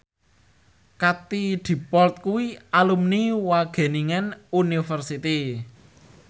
Katie Dippold kuwi alumni Wageningen University